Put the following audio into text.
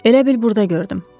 Elə bil burda gördüm.